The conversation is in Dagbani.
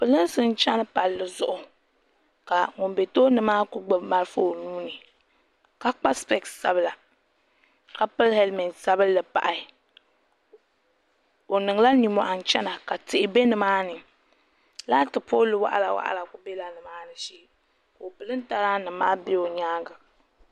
Pirinsi n cheni palli zuɣu ka ŋun be tooni maa kuli gbini marafa o nuuni ka kpa sipesi sabila ka pili helimenti sabinli pa o niŋla ninmohi n chena ka pili tihi be nimaani laati pooli waɣala waɣala kuli bela nimaani shee ka o pirintaba maa nima be o nyaanga.